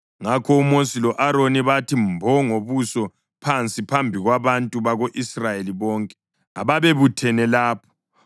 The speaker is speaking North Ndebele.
Ngakho uMosi lo-Aroni bathi mbo ngobuso phansi phambi kwabantu bako-Israyeli bonke ababebuthene lapho.